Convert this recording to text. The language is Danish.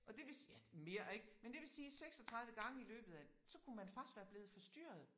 Og det vil ja mere ik men det vil sige 36 gange i løbet af så kunne man faktisk være blevet forstyrret